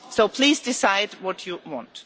Please decide what you want.